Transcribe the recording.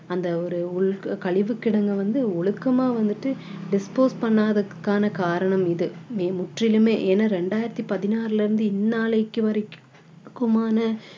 அந்த ஒரு கழிவு கிடங்கை வந்து ஒழுக்கமா வந்துட்டு dispose பண்ணாததுக்கான காரணம் இது முற்றிலுமே ஏன்னா ரெண்டாயிரத்தி பதினாறுல இருந்து இன்னாளைக்கு வரைக்கும்